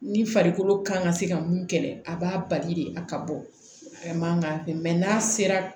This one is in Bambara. Ni farikolo kan ka se ka mun kɛlɛ a b'a bali de a ka bɔ a man kan mɛ n'a sera